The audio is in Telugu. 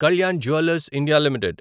Kalyan Jewellers India limited